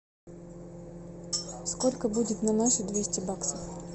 сколько будет на наши двести баксов